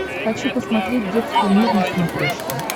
хочу посмотреть детский мир на смотрешке